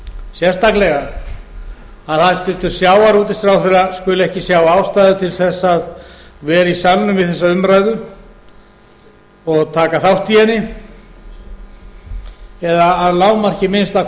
sérstaklega að hæstvirtur sjávarútvegsráðherra skuli ekki sjá ástæðu til þess að vera í salnum við þessa umræðu og taka þátt í henni eða að lágmarki að minnsta